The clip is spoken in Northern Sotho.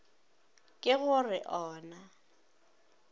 ke go re o na